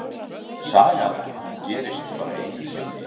Sagan gerist bara einu sinni.